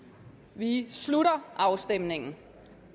vi slutter afstemningen